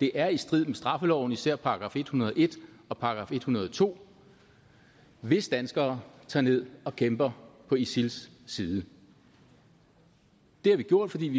det er i strid med straffeloven især § en hundrede og en og § en hundrede og to hvis danskere tager ned og kæmper på isils side det har vi gjort fordi vi